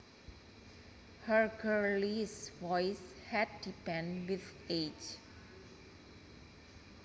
Her girlish voice had deepened with age